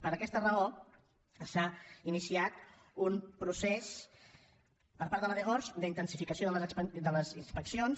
per aquesta raó s’ha iniciat un procés per part de la dgors d’intensificació de les inspeccions